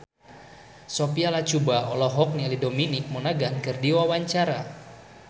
Sophia Latjuba olohok ningali Dominic Monaghan keur diwawancara